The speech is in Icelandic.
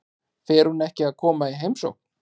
Fer hún ekki að koma í heimsókn?